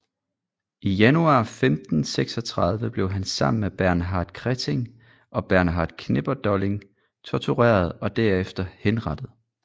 I januar 1536 blev han sammen med Bernhard Krechting og Bernhard Knipperdolling tortureret og derefter henrettet